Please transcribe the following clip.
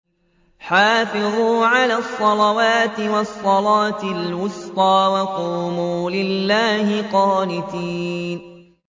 حَافِظُوا عَلَى الصَّلَوَاتِ وَالصَّلَاةِ الْوُسْطَىٰ وَقُومُوا لِلَّهِ قَانِتِينَ